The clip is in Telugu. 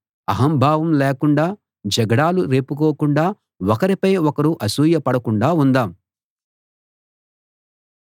అహంభావం లేకుండా జగడాలు రేపుకోకుండా ఒకరిపై ఒకరు అసూయ పడకుండా ఉందాం